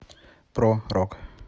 про рок